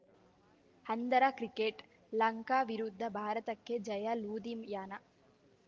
ಅಂಧರ cricket Lanka ವಿರುದ್ಧ ಭಾರತಕ್ಕೆ ಜಯ ಲೂಧಿಯಾನ